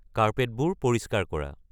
কাৰ্পেটবোৰ পৰিষ্কাৰ কৰা